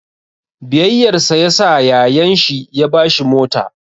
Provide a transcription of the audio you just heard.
Biyayyarsa yasa yayan shi ya ba shi mota.